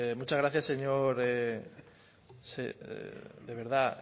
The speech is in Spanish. muchas gracias señor de verdad